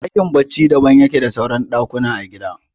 Ɗakin barci daban yake da suran ɗakuna a gida